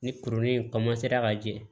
Ni kurunin in ka jɛ